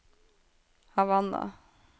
Havanna